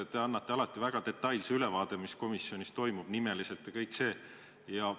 Te annate alati väga detailse ülevaate, mis komisjonis toimub, nimeliselt ja ka muus osas.